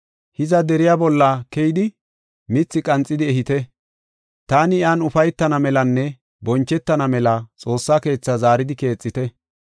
Hiza deriya bolla keyidi, mithi qanxidi ehite; taani iyan ufaytana melanne bonchetana mela xoossa keethaa zaaridi keexite.